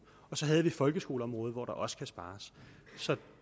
og så har vi folkeskoleområdet hvor der også skal spares så